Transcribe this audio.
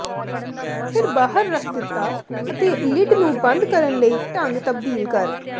ਫਿਰ ਬਾਹਰ ਰੱਖ ਦਿੱਤਾ ਅਤੇ ਲਿਡ ਨੂੰ ਬੰਦ ਕਰਨ ਲਈ ਢੰਗ ਤਬਦੀਲ ਕਰ